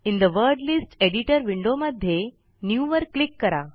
in the Word list editor window मध्ये new वर click करा